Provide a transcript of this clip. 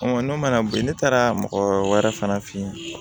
n'o mana bɔ yen ne taara mɔgɔ wɛrɛ fana fe yen